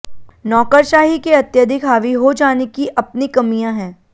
नौकरशाही के अत्यधिक हावी हो जाने की अपनी कमियां हैं